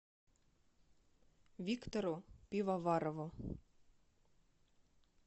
виктору пивоварову